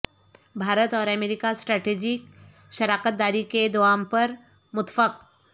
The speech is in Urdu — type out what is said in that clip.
بھارت اور امریکہ سٹریٹیجک شراکت داری کے دوام پر متفق